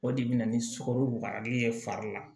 O de bɛ na ni sukaroli ye fari la